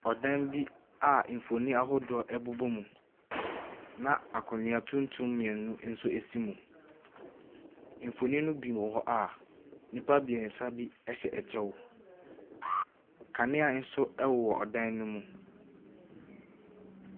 Ɔdan bi a mfonini ahodoɔ bobɔ mu na akonnwa tumtum mmienu nso ɛsi mu. Mfonin no bi wɔ hɔ a nnipa mmiɛnsa bi ɛhyɛ ɛkyɛw. Kanea nso ɛwɔ ɛdan no mu.